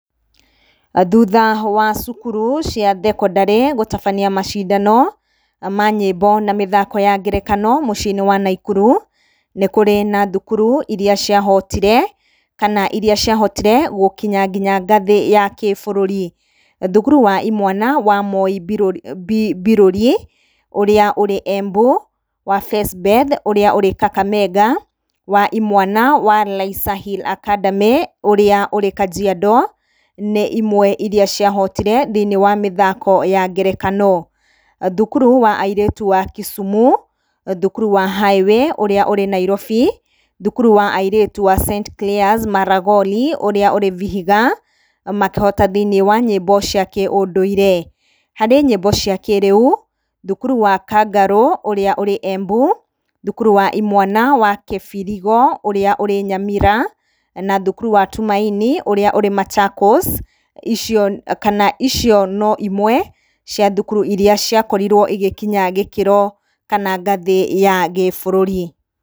Thutha wa cukuru cia thekondarĩ gũtabania macindano ma nyĩmbo na mĩthaako ya ngerekano muciĩ-ini wa Naikuru, nĩkũrĩ na thukuru iria ciahotire, kana ciahotire gũkinya nginya ngathĩ ya gĩbũrũri. Thukuru wa imwana wa Moi Mbiruri ũrĩa ũrĩ Embu, wa Fesbeth ũrĩa ũrĩ Kakamega, wa imwana wa Laiser Hill Academy ũrĩa ũrĩ Kajiado nĩ imwe iria ciahotire thĩ-inĩ wa mĩthaako ya ngerekano. Thukuru wa airĩtu wa Kisumu, thukuru wa Highway ũrĩa ũrĩ Nairobi, thukuru wa airĩtu wa St Clare's Maragoli ũrĩa ũrĩ Vihiga, makĩhota thĩ-inĩ wa nyĩmbo cia kĩũndũire. Harĩ nyimbo cia kĩrĩu, thukuru wa Kangaru ũrĩa ũrĩ Embu, thukuru wa imwana wa Kibirigo ũrĩa ũrĩ Nyamira, na thukuru wa Tumaini ũrĩa ũrĩ Machakos, icio kana icio no imwe cia thukuru iria ciakorirwo igĩkinya gĩkĩro kana ngathĩ ya gĩbũrũri.